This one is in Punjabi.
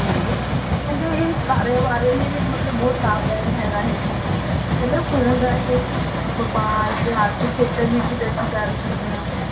ਹਾਂਜੀ ਕਹਿੰਦੇ ਇਹ ਕਾਰੋਬਾਰੀਆਂ ਲਈ ਵੀ ਮਤਲਬ ਬਹੁਤ ਲਾਭਦਾਇਕ ਹੈਗਾ ਇਹ ਕਹਿੰਦੇ phone ਰਾਹੀਂ ਅਸੀਂ ਵਾਪਾਰ ਤੇ ਆਰਥਿਕ ਖੇਤਰ ਵਿੱਚ ਤਰੱਕੀ ਕਰ ਸਕਦੇ ਹਾਂ।